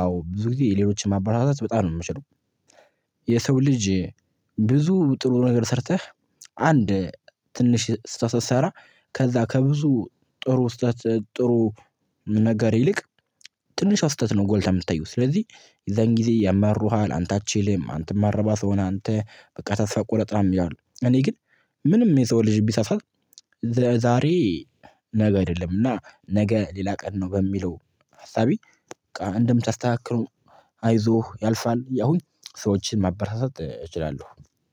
አዎ ብዙ ጊዜ ሌሎችን ማበረታታት በጣም ነው የምችለው። የሰው ልጅ ብዙ ጥሩ ነገር ሰርተህ አንድ ትንሽ ስህተት ስትሰራ ከዛ ከብዙ ጥሩ ስህተት ጥሩ ነገር ይልቅ ትንሿ ስህተት ጎልታ የምትታየው ስለዚህ የዛን ጊዜ ያማሩሃል አንተ አትችልም አንተ ማትረባ ስው ነህ። አንተ በቃ ተስፋ ቁረጥ ምናምን ይላሉ። እኔ ግን ምንም የሰው ልጅ ቢሳሳት። ዛሬ ነገ አይደለም እና ነገ ሌላ ቀን ነው። በሚለው ሀሳቤ በቃ እንደምታስተካክለው አይዞህ ያልፋል እያልኩኝ ሰዎችን ማበረታታት እችላለሁ